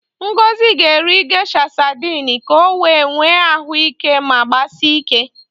Ngozi ga-eri Gesha sadịn ka o wee nwee ahụ ike ma gbasie ike.